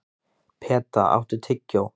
Peta, áttu tyggjó?